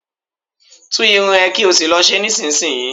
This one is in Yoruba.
Tú irun ẹ̀ kí ò sì lọ ṣe é nísinsìnyí!